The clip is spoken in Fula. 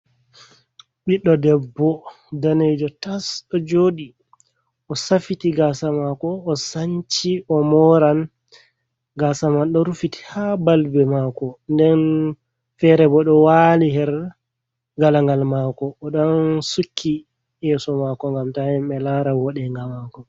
Ɓidɗo debbo danejo tas ɗo joɗi o safiti gasa mako o sanchi o moran, gasa man ɗo rufiti ha balbe mako, nden fere bo ɗo wali her galangal mako, oɗon sukki yeso mako ngam ta himɓe lara woɗenga mako.